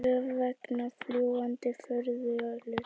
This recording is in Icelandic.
Töf vegna fljúgandi furðuhluta